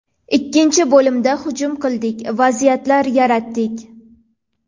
Ikkinchi bo‘limda hujum qildik, vaziyatlar yaratdik.